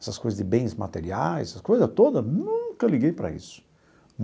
Essas coisas de bens materiais, essas coisa toda, nunca liguei para isso.